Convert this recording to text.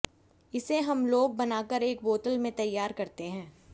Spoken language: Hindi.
इसे हम लोग बनाकर एक बोतल में तैयार करते है